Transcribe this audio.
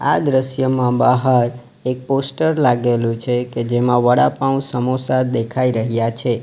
આ દ્રશ્યમાં બહાર એક પોસ્ટર લાગેલું છે કે જેમાં વડાપાઉં સમોસા દેખાઈ રહ્યા છે.